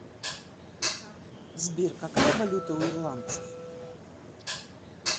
сбер какая валюта у ирландцев